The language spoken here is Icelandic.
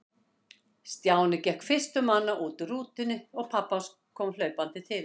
Stjáni gekk fyrstur manna út úr rútunni og pabbi kom hlaupandi til hans.